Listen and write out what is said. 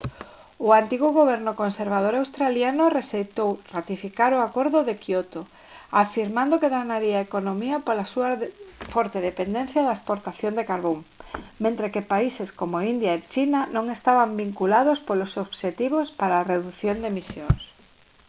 o antigo goberno conservador australiano rexeitou ratificar o acordo de quioto afirmando que danaría a economía pola súa forte dependencia da exportación de carbón mentres que países como india e china non estaban vinculados polos obxectivos para a redución de emisións